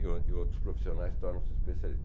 e o e outros profissionais tornam-se especialistas.